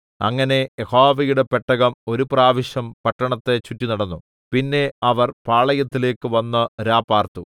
അങ്ങനെ യഹോവയുടെ പെട്ടകം ഒരു പ്രാവശ്യം പട്ടണത്തെ ചുറ്റിനടന്നു പിന്നെ അവർ പാളയത്തിലേക്ക് വന്ന് രാപാർത്തു